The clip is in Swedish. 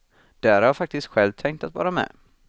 Där har jag faktiskt själv tänkt att vara med.